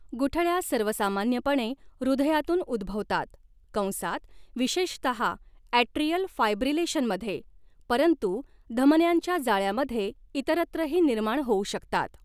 गुठळ्या सर्वसामान्यपणे हृधयातून उद्भवतात, कंसात विशेषतहा ॲट्रियल फायब्रिलेशनमध्ये, परंतु धमन्यांच्या जाळ्यामध्ये इतरत्रही निर्माण होऊ शकतात.